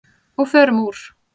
Og förum úr.